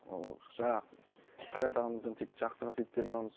жаңағы қайрат ағамыздан тек жақсы қасиеттерін аламыз